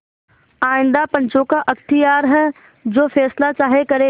आइंदा पंचों का अख्तियार है जो फैसला चाहें करें